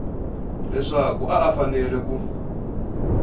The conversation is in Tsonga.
leswaku a a fanele ku